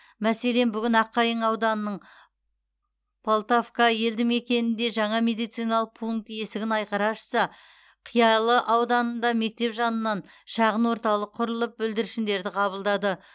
мәселен бүгін аққайың ауданының полтавка елді мекенінде жаңа медициналық пункт есігін айқара ашса қиялы ауылында мектеп жанынан шағын орталық құрылып бүлдіршіндерді қабылдады